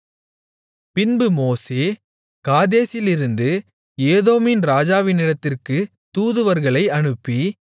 பின்பு மோசே காதேசிலிருந்து ஏதோமின் ராஜாவினிடத்திற்கு தூதுவர்களை அனுப்பி